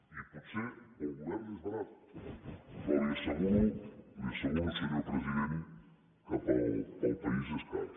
i potser per al govern és barat però li asseguro li ho asseguro senyor president que per al país és car